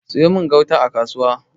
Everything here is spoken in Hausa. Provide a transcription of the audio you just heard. siyo min gauta a kasuwa!